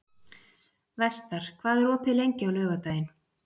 Vestar, hvað er opið lengi á laugardaginn?